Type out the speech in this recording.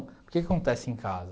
Por que que acontece em casa?